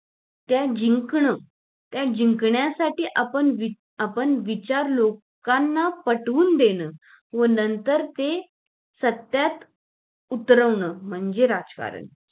त्या जिंकन त्या जिंकण्यासाठी आपण आपले विचार लोकांना पटवून देणं व नंतर ते सत्यात उतरावं म्हणजे राजकारण